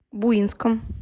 буинском